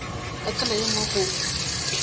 ka tsela ye nngwe go